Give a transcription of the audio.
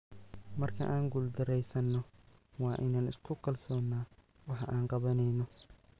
"Marka aan guuldareysano, waa in aan isku kalsoonaano waxa aan qabaneyno."